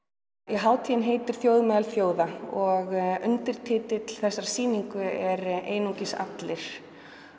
hátíðin heitir þjóð meðal þjóða og undirtitill þessarar sýningar er einungis allir